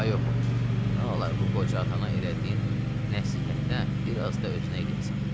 Ay oğul, nə olar bu qoca atana elədiyin nəsihətdən bir az da özünə eləyəcən.